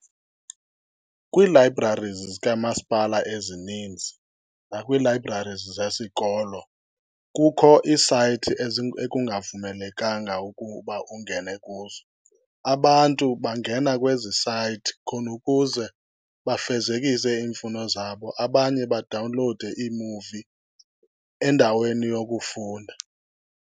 Kwii-libraries zikamasipala ezininzi nakwii-libraries zesikolo kukho iisayithi ekungavumelekanga ukuba ungene kuzo. Abantu bangena kwezi sayithi khona ukuze bafezekise iimfuno zabo, abanye badawunlowude iimuvi endaweni yokufunda.